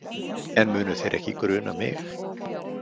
En munu þeir ekki gruna mig?